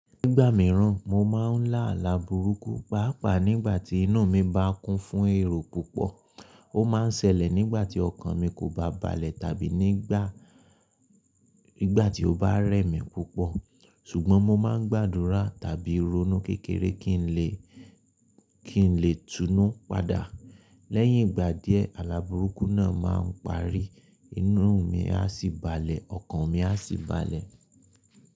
Nígbà mìíràn, mo máa ń lá alàburúkú, pàápàá nígbà tí inú mi bá kún fún èrò púpọ̀. Ó máa ń ṣẹlẹ̀ nígbà tí ọkàn mi kò bá balẹ̀ tàbí nígbà tí ó bá rẹ mi púpọ̀. Ṣùgbọ́n mo máa ń gbàdúrà tàbí ronú kékeré kí n lè túnú padà. Lẹ́yìn ìgbà díẹ̀, alàburúkú náà máa ń parí, inú mi á sì balẹ̀, ọkàn mi á sì balẹ̀.